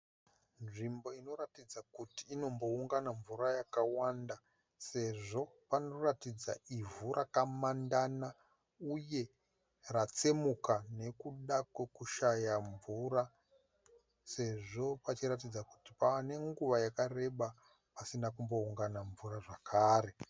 Nzvimbo inoratidza kuti inomboungana mvura yakawanda sezvo panoratidza ivhu rakamandana uye ratsemuka nekuda kwekushaya mvura sezvo pachiratidza kuti pava nenguva yakareba pasina kumboungana mvura zvakare.